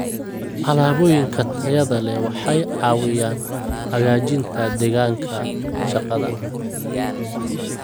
Alaabooyinka tayada leh waxay caawiyaan hagaajinta deegaanka shaqada.